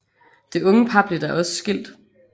Det unge par blev da også skilt